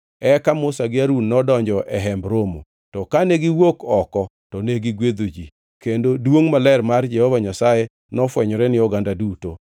Eka Musa gi Harun nodonjo e Hemb Romo, to kane giwuok oko to negigwedho ji, kendo duongʼ maler mar Jehova Nyasaye nofwenyore ni oganda duto.